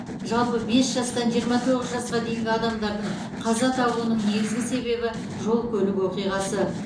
жалпы бес жастан жиырма тоғыз жасқа дейінгі адамдардың қаза табуның негізгі себебі жол көлік оқиғасы